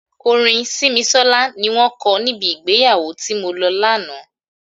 Orin Simisola ni wọn ko níbi ìgbéyàwó tí mo lọ lánàá.